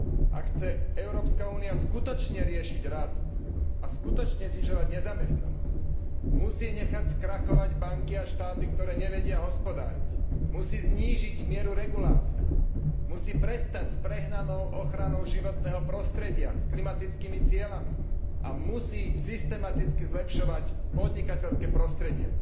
Ak chce Európska únia skutočne riešiť rast a skutočne znižovať nezamestnanosť, musí nechať skrachovať banky a štáty, ktoré nevedia hospodáriť, musí znížiť mieru regulácií, musí prestať s prehnanou ochranou životného prostredia, s klimatickými cieľmi a musí systematicky zlepšovať podnikateľské prostredie.